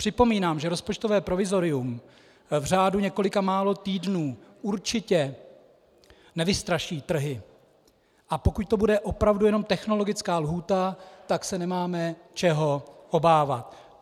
Připomínám, že rozpočtové provizorium v řádu několika málo týdnů určitě nevystraší trhy, a pokud to bude opravdu jenom technologická lhůta, tak se nemáme čeho obávat.